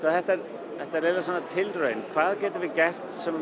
þetta er tilraun hvað getum við gert sem